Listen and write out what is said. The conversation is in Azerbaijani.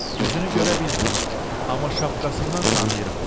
Üzünü görə bilmirəm, amma şapkasından tanıyıram.